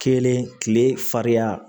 Kelen kile fariya